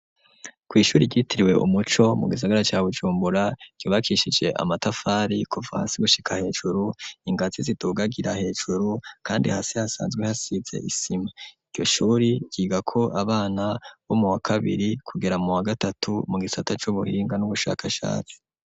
Kw'ishuri ryitiriwe Umuco mu gisagara ca Bujumbura ryubakishije amatafari kuva hasi gushika hejuru ingazi zidugagira hejuru kandi hasi hasanzwe hasize isima iryo shuri ryigako abana bo muwa kabiri kugera muwa gatatu mu gisata c'ubuhinga n'ubushakashatsi